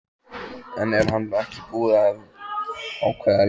En er hann ekki búinn að ákveða liðið?